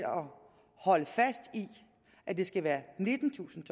holde fast i at det skal være nittentusind